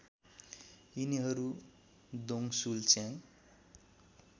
यिनीहरू दोङशुल च्याङ